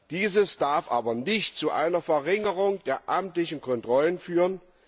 Dies darf aber nicht zu einer Verringerung der amtlichen Kontrollen führen.